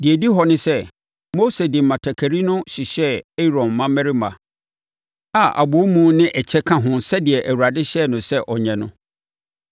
Deɛ ɛdi hɔ ne sɛ, Mose de mmatakari no hyehyɛɛ Aaron mmammarima a abɔwomu ne ɛkyɛ ka ho sɛdeɛ Awurade hyɛɛ no sɛ ɔnyɛ no.